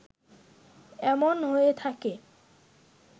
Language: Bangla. এমন হয়ে থাকে